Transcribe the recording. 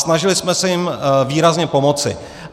Snažili jsme se jim výrazně pomoci.